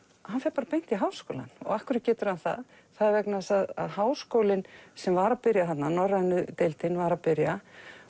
hann fer bara beint í Háskólann og af hverju getur hann það það er vegna þess að Háskólinn sem var að byrja þarna norrænu deildin var að byrja